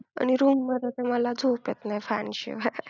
आणि room मध्ये तर मला झोप येत नाही fan शिवाय.